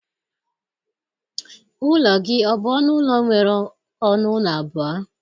Ụlọ gị ọ bụ ọnụ ụlọ nwere ọnụ ụlọ abụọ?